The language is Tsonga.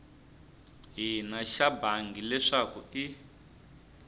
hina xa bangi leswaku i